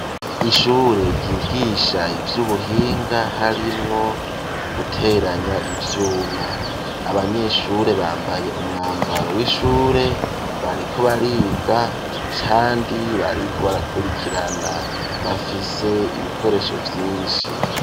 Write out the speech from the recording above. Ishure ryigisha ivy'ubuhinga harimwo guteranya ivyuma. Abanyeshure bambaye umwambaro w'ishure bariko bariga kandi bariko barakurikirana. Bafise ibikoresho vyinshi.